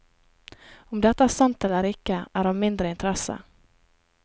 Om dette er sant eller ikke, er av mindre interesse.